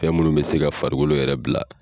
Fɛn minnu bɛ se ka farikolo yɛrɛ bila.